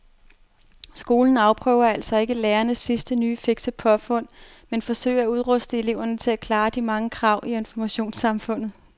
Skolen afprøver altså ikke lærernes sidste nye fikse påfund men forsøger at udruste eleverne til at klare de mange krav i informationssamfundet.